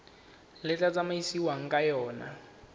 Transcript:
le tla tsamaisiwang ka yona